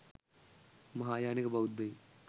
මහායානික බෞද්ධයින්